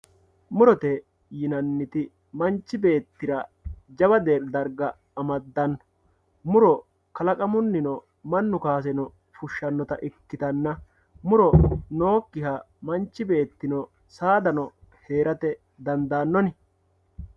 Murote yinaniti manchi beettira jawa dariga amadanno muro kalaqamunnino manau kaasrnno fushanotta ikkitanna muro nookkiha manchi beettino saadano heeratte dandanonni